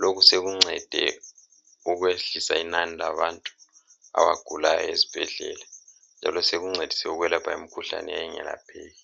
Lokhu sekuncede ukwehlisa inani labantu abagulayo ezibhedlela. Njalo sekuncedise ukwelapha imikhuhlane eyayingelapheki.